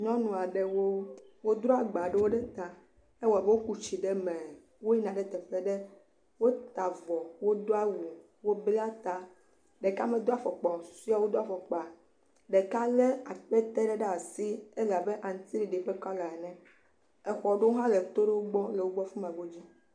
Nyɔnu aɖewo, wodro agba ɖewo ɖe ta, ewɔ abe woku tsi ɖe me, woyina ɖe teƒe ɖe, wota avɔ, wodo awu, wobla ta, ɖeka medo afɔkpa o, susɔewo do afɔkpa, ɖeka lé akpete ɖe ɖe asi, ele abe aŋutiɖiɖi ƒe kɔla ene, exɔ aɖewo hã le teƒe ma.